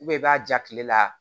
i b'a ja tile la